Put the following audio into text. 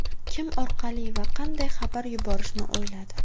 Kim orqali va qanday xabar yuborishni o‘yladi.